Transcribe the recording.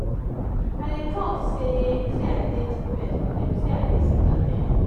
i dey tok sey sey i dey depressed but dem say i dey seek at ten tion.